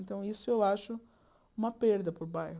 Então, isso eu acho uma perda para o bairro.